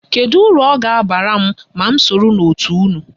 Kedu uru ọ ga-abara m ma m soro n'òtù unu?